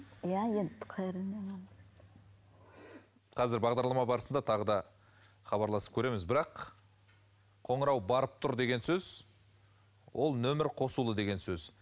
қазір бағдарлама барысында тағы да хабарласып көреміз бірақ қоңырау барып тұр деген сөз ол нөмір қосулы деген сөз